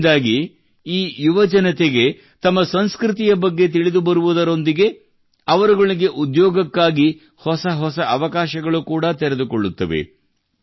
ಇವುಗಳಿಂದಾಗಿ ಈ ಯುವಜನತೆಗೆ ತಮ್ಮ ಸಂಸ್ಕೃತಿಯ ಬಗ್ಗೆ ತಿಳಿದುಬರುವುದರೊಂದಿಗೆ ಅವರುಗಳಿಗೆ ಉದ್ಯೋಗಕ್ಕಾಗಿ ಹೊಸ ಹೊಸ ಅವಕಾಶಗಳು ಕೂಡಾ ತೆರೆದುಕೊಳ್ಳುತ್ತವೆ